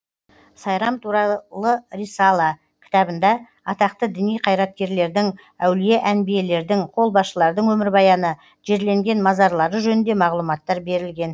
сайрам туралы рисала кітабында атақты діни қайраткерлердің әулие әнбиелердің қолбасшылардың өмірбаяны жерленген мазарлары жөнінде мағлұматтар берілген